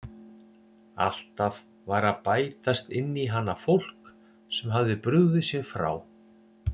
Alltaf var að bætast inn í hana fólk sem hafði brugðið sér frá.